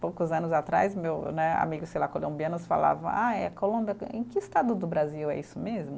Poucos anos atrás, meu né, amigo sei lá colombianos falava, ah é Colômbia em que estado do Brasil é isso mesmo?